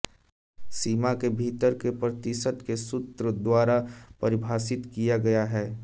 सीमा के भीतर के प्रतिशत को सूत्र द्वारा परिभाषित किया गया है